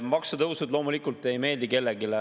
Maksutõusud loomulikult ei meeldi kellelegi.